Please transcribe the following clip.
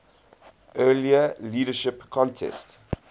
earlier leadership contest